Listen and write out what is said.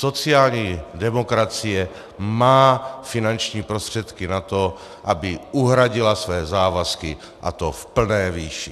Sociální demokracie má finanční prostředky na to, aby uhradila své závazky, a to v plné výši.